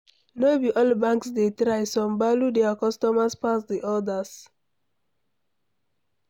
No be all banks dey try, some value their cusomers pass di others